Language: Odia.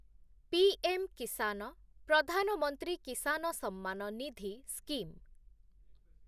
PM Kisan Pradhan Mantri Kisan Samman Nidhi scheme